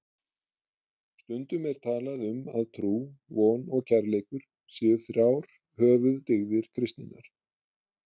Stundum er talað um að trú, von og kærleikur séu þrjár höfuðdygðir kristninnar.